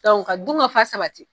ka du ga fa sabati